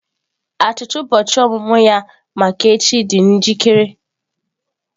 Achịcha ụbọchị ọmụmụ ya maka echi dị njikere.